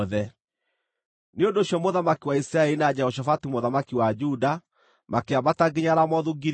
Nĩ ũndũ ũcio mũthamaki wa Isiraeli na Jehoshafatu mũthamaki wa Juda makĩambata nginya Ramothu-Gileadi.